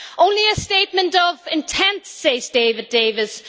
Only a statement of intent', says David Davis